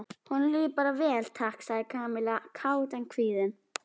Honum líður bara vel, takk sagði Kamilla kát en kvíðin.